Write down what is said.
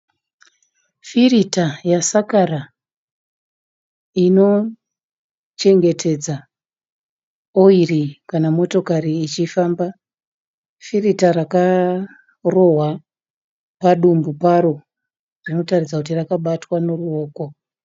Firita yasakara inochengetedza oyiri kana motokari ichifamba. Firita rakarohwa padumbu paro rinotatidza kuti rakabatwa neruvoko.